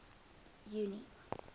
junie